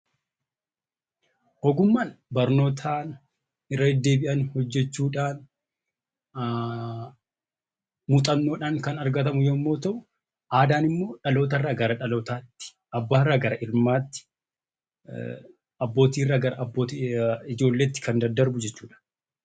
Ogummaan barnootaan, irra deddeebi'anii hojjechuudhaan, muuxannoodhaan kan argatamu yoo ta'u; Aadaan immoo dhaloota irraa gara dhalootaatti, abbaa irraa gara ilmaatti, abbootii irraa gara ijoolleetti kan daddarbu jechuu dha.